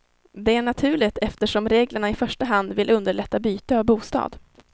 Det är naturligt eftersom reglerna i första hand vill underlätta byte av bostad.